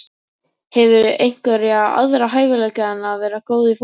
Hefurðu einhverja aðra hæfileika en að vera góð í fótbolta?